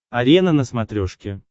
арена на смотрешке